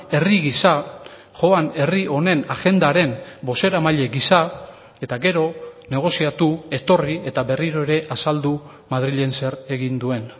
herri gisa joan herri honen agendaren bozeramaile gisa eta gero negoziatu etorri eta berriro ere azaldu madrilen zer egin duen